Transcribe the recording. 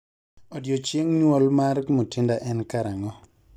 odiochieng nyuol mar Mutinda en karang'o